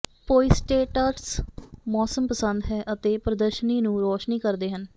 ਪੋਇੰਸੇਟਾਟਸ ਮੌਸਮੀ ਪਸੰਦ ਹੈ ਅਤੇ ਪ੍ਰਦਰਸ਼ਨੀ ਨੂੰ ਰੌਸ਼ਨ ਕਰਦੇ ਹਨ